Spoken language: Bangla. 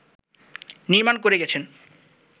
নির্মাণ করে গেছেন